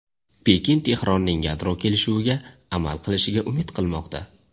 Pekin Tehronning yadro kelishuviga amal qilishiga umid qilmoqda.